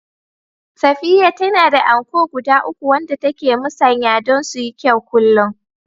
Safiya tana da anko guda uku wanda take musanya don su yi kyau kullum